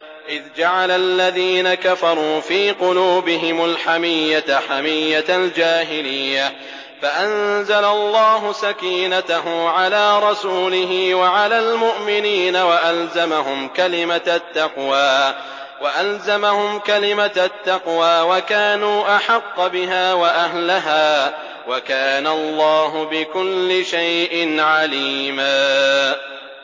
إِذْ جَعَلَ الَّذِينَ كَفَرُوا فِي قُلُوبِهِمُ الْحَمِيَّةَ حَمِيَّةَ الْجَاهِلِيَّةِ فَأَنزَلَ اللَّهُ سَكِينَتَهُ عَلَىٰ رَسُولِهِ وَعَلَى الْمُؤْمِنِينَ وَأَلْزَمَهُمْ كَلِمَةَ التَّقْوَىٰ وَكَانُوا أَحَقَّ بِهَا وَأَهْلَهَا ۚ وَكَانَ اللَّهُ بِكُلِّ شَيْءٍ عَلِيمًا